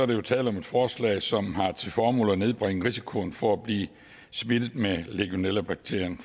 der tale om et forslag som har til formål at nedbringe risikoen for at blive smittet med legionellabakterien